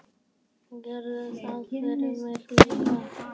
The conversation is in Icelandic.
Gerðu það fyrir mig líka.